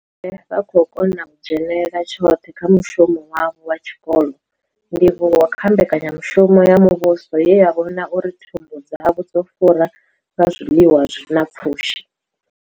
vha khou kona u dzhenela tshoṱhe kha mushumo wavho wa tshikolo, ndivhuwo kha mbekanya mushumo ya muvhuso ye ya vhona uri thumbu dzavho dzo fura nga zwiḽiwa zwi na pfushi.